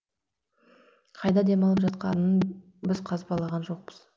қайда демалып жатқанын біз қазбалаған жоқпыз